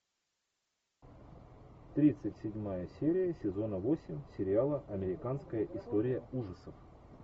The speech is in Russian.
тридцать седьмая серия сезона восемь сериала американская история ужасов